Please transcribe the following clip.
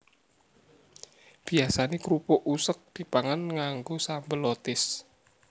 Biyasané krupuk useg dipangan nganggo sambel lotis